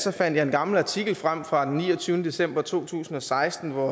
fandt en gammel artikel frem fra den niogtyvende december to tusind og seksten hvor